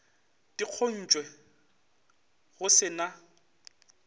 di kgontšwe go se na